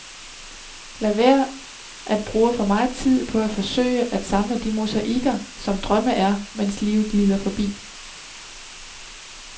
Lad være at bruge for meget tid på at forsøge at samle de mosaikker, som drømme er, mens livet glider forbi.